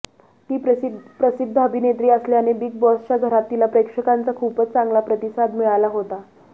ती प्रसिद्ध अभिनेत्री असल्याने बिग बॉसच्या घरात तिला प्रेक्षकांचा खूपच चांगला प्रतिसाद मिळाला होता